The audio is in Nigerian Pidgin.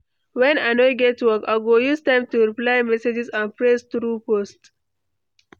When I no get work, I go use time to reply messages and press through posts.